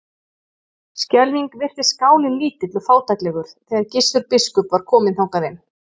Skelfing virtist skálinn lítill og fátæklegur þegar Gissur biskup var kominn þangað inn.